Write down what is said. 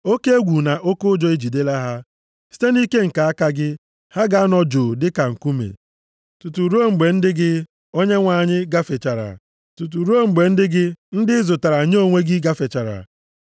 oke egwu na oke ụjọ ejidela ha. Site nʼike nke aka gị, ha ga-anọ jụụ dịka nkume, tutu ruo mgbe ndị gị, Onyenwe anyị, gafechara, tutu ruo mgbe ndị gị, ndị ị zụtara nye onwe gị, gafechara.